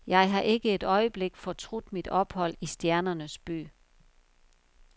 Jeg har ikke et øjeblik fortrudt mit ophold i stjernernes by.